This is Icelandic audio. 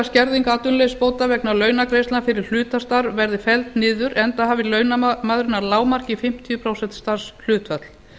skerðing atvinnuleysisbóta vegna launagreiðslna fyrir hlutastarf verði felld niður enda hafi launamaðurinn að lágmarki fimmtíu prósent starfshlutfall